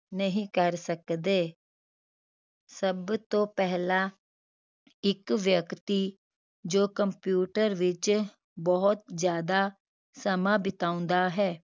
ਨਹੀਂ ਕਰ ਸਕਦੇ ਸਭ ਤੋਂ ਪਹਿਲਾ ਇੱਕ ਵਿਅਕਤੀ ਜੋ computer ਵਿਚ ਬਹੁਤ ਜਿਆਦਾ ਸਮਾਂ ਬਿਤਾਉਂਦਾ ਹੈ